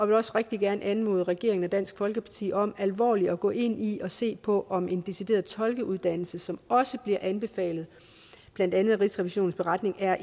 vil også rigtig gerne anmode regeringen og dansk folkeparti om alvorligt at gå ind i og se på om en decideret tolkeuddannelse som også bliver anbefalet blandt andet i rigsrevisionens beretning er